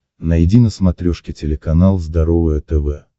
найди на смотрешке телеканал здоровое тв